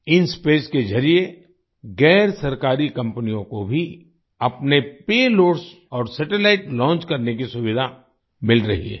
इंस्पेस के जरिए गैरसरकारी कंपनियों को भी अपने पेलोड्स और सैटेलाइट लॉन्च करने की सुविधा मिल रही है